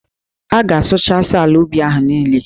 A ga-asụchasị ala ubi ahụ niile.